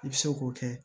I bɛ se k'o kɛ